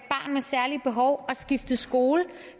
særlige behov er skifte skole